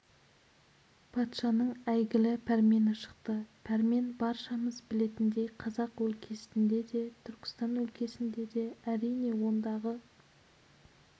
патшаның әйгілі пәрмені шықты пәрмен баршамыз білетіндей қазақ өлкесінде де түркістан өлкесінде де әрине ондағы